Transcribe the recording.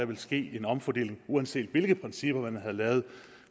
vil ske en omfordeling og uanset hvilke principper man havde lavet